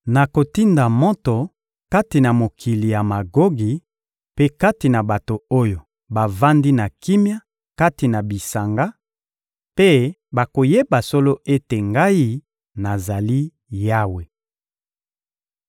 Nakotinda moto kati na mokili ya Magogi mpe kati na bato oyo bavandi na kimia kati na bisanga; mpe bakoyeba solo ete Ngai, nazali Yawe.